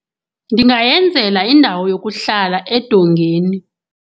Ndingayenzela indawo yokuhlala edongeni.